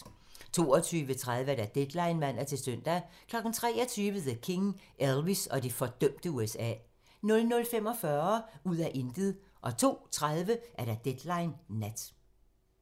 22:30: Deadline (man-søn) 23:00: The King - Elvis og det fordømte USA 00:45: Ud af intet 02:30: Deadline Nat